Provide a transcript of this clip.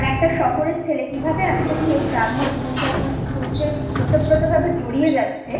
একটা শহরের ছেলে কিভাবে আস্তে আস্তে ওই গ্রাম্য জীবনযাত্রার মধ্যে অতোপতো ভাবে জড়িয়ে যাচ্ছে